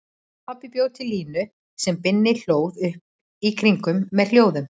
Pabbi bjó til línu sem Binni hlóð upp í kringum með hljómum.